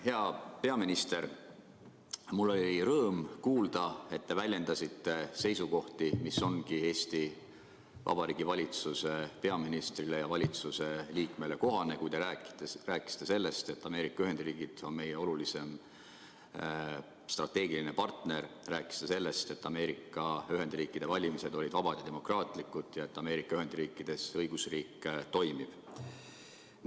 Hea peaminister, mul oli rõõm kuulda, et te väljendasite seisukohti, mis ongi Eesti Vabariigi valitsuse peaministrile ja valitsuse liikmele kohased, kui te rääkisite sellest, et Ameerika Ühendriigid on meie olulisim strateegiline partner, rääkisite sellest, et Ameerika Ühendriikide valimised olid vabad ja demokraatlikud ja et Ameerika Ühendriikides õigusriik toimib.